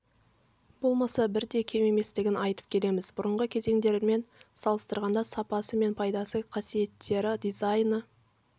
болмаса бір де кем еместігін айтып келеміз бұрынғы кезеңдермен салыстырғанда сапасы мен пайдалы қасиеттері дизайны